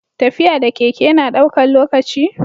tafiya da keke na daukan lokaci?